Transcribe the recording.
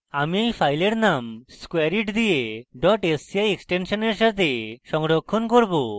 আমি এই file name squareit দিয়ে sci এক্সটেনশননের save সংরক্ষণ করব